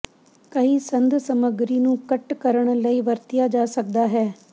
ਕਈ ਸੰਦ ਸਮੱਗਰੀ ਨੂੰ ਕੱਟ ਕਰਨ ਲਈ ਵਰਤਿਆ ਜਾ ਸਕਦਾ ਹੈ